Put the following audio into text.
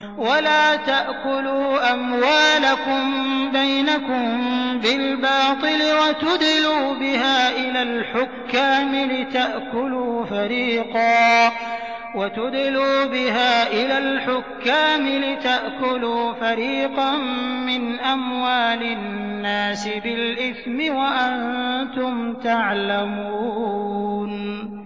وَلَا تَأْكُلُوا أَمْوَالَكُم بَيْنَكُم بِالْبَاطِلِ وَتُدْلُوا بِهَا إِلَى الْحُكَّامِ لِتَأْكُلُوا فَرِيقًا مِّنْ أَمْوَالِ النَّاسِ بِالْإِثْمِ وَأَنتُمْ تَعْلَمُونَ